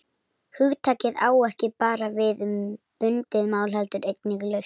Hugtakið á ekki bara við um bundið mál heldur einnig laust.